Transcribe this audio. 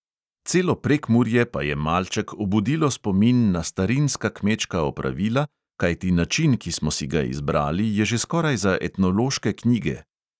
Celo prekmurje pa je malček obudilo spomin na starinska kmečka opravila, kajti način, ki smo si ga izbrali, je že skoraj za etnološke knjige.